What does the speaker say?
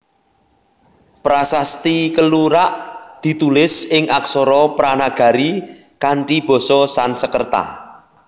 Prasasti Kelurak ditulis ing aksara Pranagari kanthi basa Sanskerta